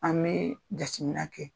An bɛ jatemina kɛ